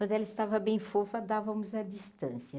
Quando ela estava bem fofa dávamos a distância.